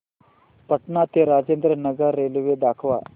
पटणा ते राजेंद्र नगर रेल्वे दाखवा